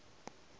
ka go nanya e ba